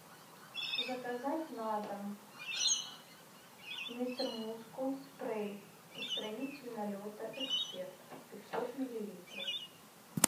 заказать на дом мистер мускул спрей устранитель налета эксперт пятьсот миллилитров